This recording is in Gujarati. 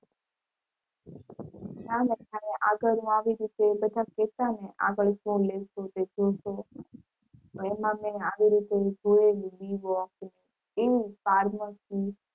ના ના જ્યારે આગળનું આવી રીતે બધા કેતા ને આગળ શું લેશું તે જોશું એમાં મે આવી રીતે જોયેલી એ pharmacy